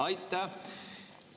Aitäh!